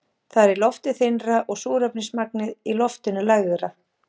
Þar er loftið þynnra og súrefnismagnið í loftinu lægra.